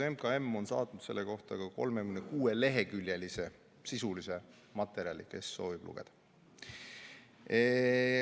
MKM on saatnud selle kohta ka 36-leheküljelise sisulise materjali, kui keegi soovib lugeda.